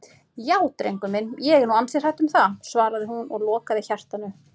Já drengur minn, ég er nú ansi hrædd um það, svaraði hún og lokaði hjartanu.